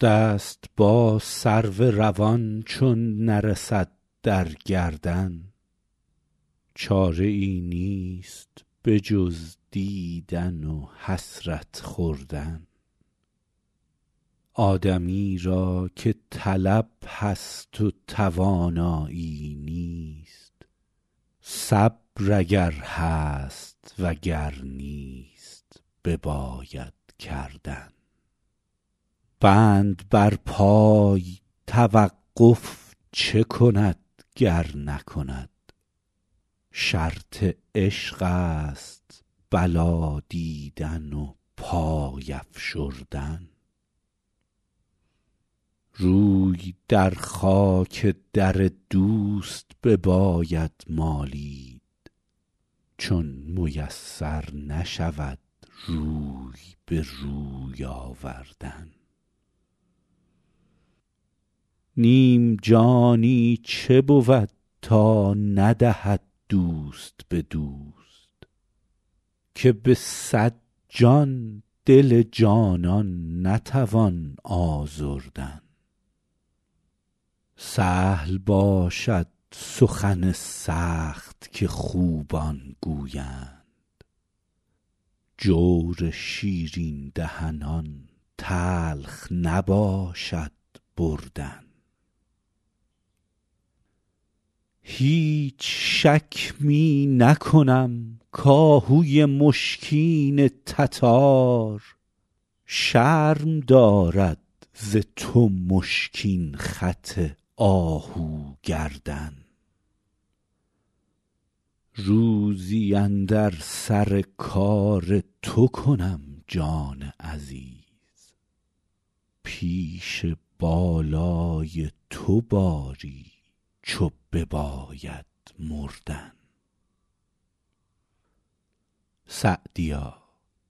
دست با سرو روان چون نرسد در گردن چاره ای نیست به جز دیدن و حسرت خوردن آدمی را که طلب هست و توانایی نیست صبر اگر هست و گر نیست بباید کردن بند بر پای توقف چه کند گر نکند شرط عشق است بلا دیدن و پای افشردن روی در خاک در دوست بباید مالید چون میسر نشود روی به روی آوردن نیم جانی چه بود تا ندهد دوست به دوست که به صد جان دل جانان نتوان آزردن سهل باشد سخن سخت که خوبان گویند جور شیرین دهنان تلخ نباشد بردن هیچ شک می نکنم کآهوی مشکین تتار شرم دارد ز تو مشکین خط آهو گردن روزی اندر سر کار تو کنم جان عزیز پیش بالای تو باری چو بباید مردن سعدیا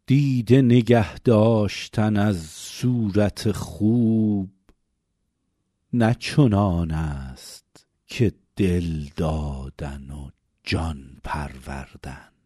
دیده نگه داشتن از صورت خوب نه چنان است که دل دادن و جان پروردن